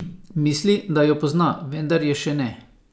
Misli, da jo pozna, vendar je še ne.